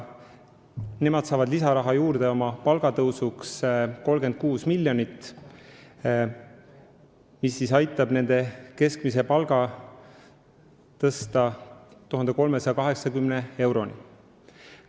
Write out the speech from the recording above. Nad saavad oma palga tõusuks lisaraha 36 miljonit, mis aitab nende keskmise palga tõsta 1380 euroni.